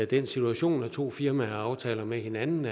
den situation at to firmaer har en aftale med hinanden